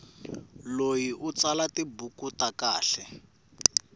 loyi u tsala tibuku ta kahle